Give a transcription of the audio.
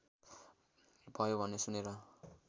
भयो भन्ने सुनेर